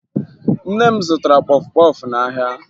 Nne m zụtara kpọfụ kpọfụ n'ahịa